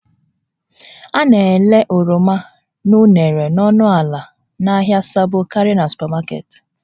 A na-ere oroma na unere n'ọnụ ala n'ahịa Sabo karịa na supamaketi